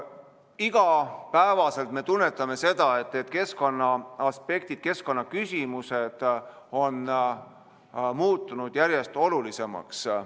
Igapäevaselt me tunnetame seda, et keskkonnaaspektid, keskkonnaküsimused on muutunud järjest olulisemaks.